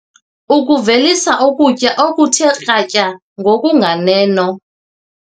- ukuvelisa ukutya okuthe kratya ngokunganeno